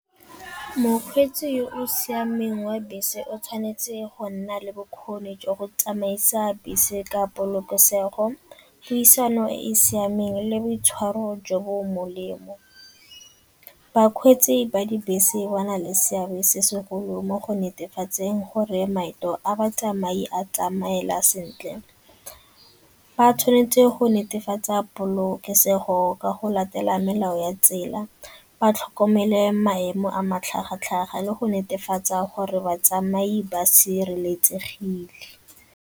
Mokgweetsi o o siameng wa bese o tshwanetse go nna le bokgoni jwa go tsamaisa bese ka polokesego, puisano e e siameng le boitshwaro jo bo molemo. Bakgweetsi ba dibese ba na le seabe se segolo mo go netefatseng gore maeto a batsamai a tsamaela sentle. Ba tshwanetse go netefatsa polokesego ka go latela melao ya tsela, ba tlhokomele maemo a matlhagatlhaga le go netefatsa gore batsamai ba sireletsegile.